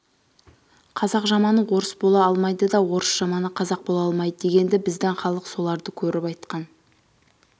қазақ жаманы орыс бола алмайды да орыс жаманы қазақ бола алмайды дегенді біздің халық соларды көріп айтқан